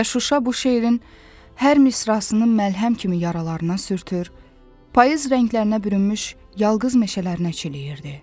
Və Şuşa bu şeirin hər misrasını məlhəm kimi yaralarına sürtür, payız rənglərinə bürünmüş yalqız meşələrinə çiləyirdi.